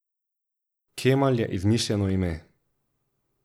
Kemal je izmišljeno ime.